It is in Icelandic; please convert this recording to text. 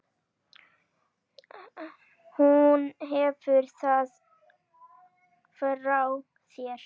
Hún hefur það frá þér.